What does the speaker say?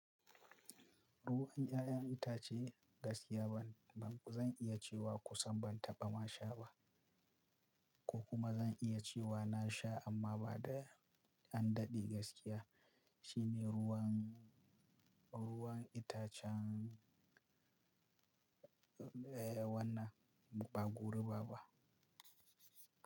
Ruwan 'ya'yan itace gaskiya ba zan iya cewa kusan ban taɓa ma sha ba ko kuma zan iya cewa na sha amma ba da an daɗe gaskiya shine ruwan, ruwan itacen, eh wannan ba goruba ba.